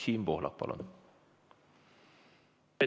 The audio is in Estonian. Siim Pohlak, palun!